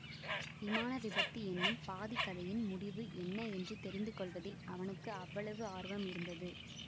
விமான விபத்து என்னும் பாதிக் கதையின் முடிவு என்ன என்று தெரிந்து கொள்வதில் அவனுக்கு அவ்வளவு ஆர்வம் இருந்தது